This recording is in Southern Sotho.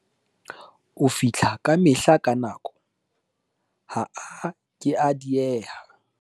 o fihla kamehla ka nako, ha a ke a diehe